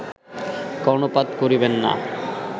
কর্ণপাত করিবেন না